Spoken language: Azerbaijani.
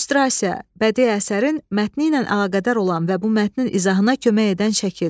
İllüstrasiya, bədii əsərin mətni ilə əlaqədar olan və bu mətnin izahına kömək edən şəkil.